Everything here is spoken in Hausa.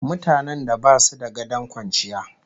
Mutanen da basu da gadon kwanciya